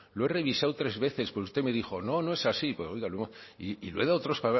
lo he revisado tres veces porque usted me dijo no no es así pues oiga y lo he dado a otros